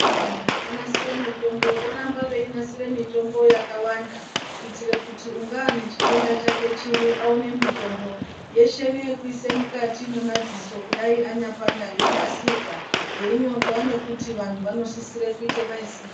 Vantu vanonasire mutombo voramba veinasire mitombo yakwanda kuite kuti ungaa nechitenda chake chiri awane mutombo yeshe neyekuise mukati mwemadziso kudai anyapanda yonasirwa yeinyorwa nekuti vantu vanosisire kuite maitirei.